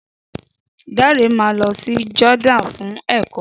Dare máa lọ sí Jordan fún èkọ́